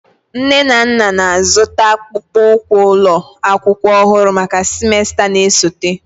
Nne na nna na-azụta akpụkpọ ụkwụ ụlọ akwụkwọ ọhụrụ maka semester na-esote.